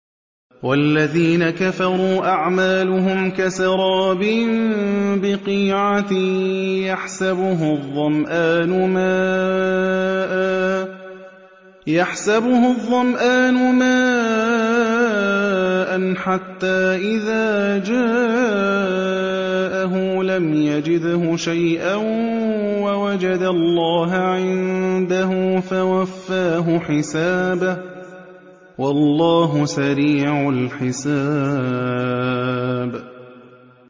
وَالَّذِينَ كَفَرُوا أَعْمَالُهُمْ كَسَرَابٍ بِقِيعَةٍ يَحْسَبُهُ الظَّمْآنُ مَاءً حَتَّىٰ إِذَا جَاءَهُ لَمْ يَجِدْهُ شَيْئًا وَوَجَدَ اللَّهَ عِندَهُ فَوَفَّاهُ حِسَابَهُ ۗ وَاللَّهُ سَرِيعُ الْحِسَابِ